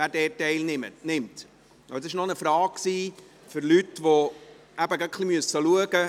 Das war eine Frage von Leuten, die gerade ein wenig schauen müssen.